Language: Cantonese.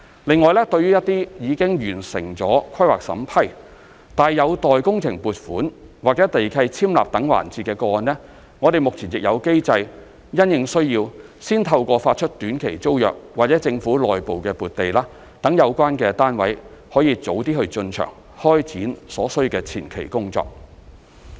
另外，對於一些已完成規劃審批，但有待工程撥款或地契簽立等環節的個案，我們目前亦有機制因應需要，先透過發出短期租約或政府內部撥地，讓有關單位可以早點進場開展所需的前期工作。